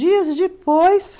Dias depois...